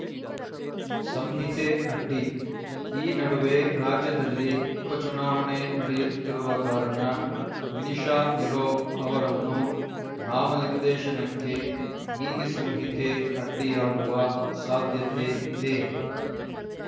ಸಂಹಿತೆ ಅಡ್ಡಿ ಈ ನಡುವೆ ರಾಜ್ಯದಲ್ಲಿ ಉಪಚುನಾವಣೆ ನಡೆಯುತ್ತಿರುವ ಕಾರಣ ವಿನಿಶಾ ನಿರೋ ಅವರನ್ನು ನಾಮನಿರ್ದೇಶನಕ್ಕೆ ನೀತಿ ಸಂಹಿತೆ ಅಡ್ಡಿಯಾಗುವ ಸಾಧ್ಯತೆ ಇದೆ